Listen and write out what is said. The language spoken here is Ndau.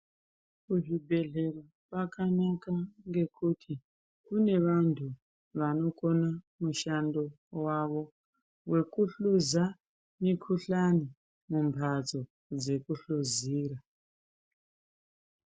Kuzvibhedhlera kwanaka ngekuti kune vantu vanokone mushando wavo wekuhluza mikhuhlani mumhatso dzekuhluzira.